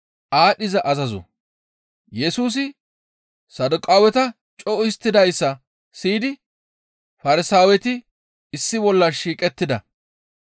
Yesusi Saduqaaweta co7u histtidayssa siyidi Farsaaweti issi bolla shiiqettida.